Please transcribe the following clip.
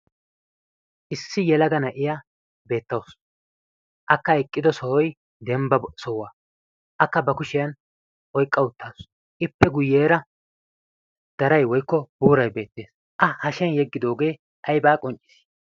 issi yelaga na'iya beettausu akka eqqido sohoi dembba sohuwaa akka ba kushiyan oiqqa uttaasu ippe guyyeera darai woykko buurai beettees a hashiyan yeggidoogee aybaa qonccii?